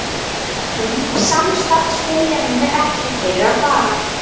En samstarfsviljanum er ekki fyrir að fara.